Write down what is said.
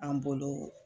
An bolo